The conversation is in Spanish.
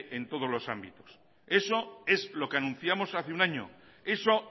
en todos los ámbitos eso es lo que anunciamos hace un año eso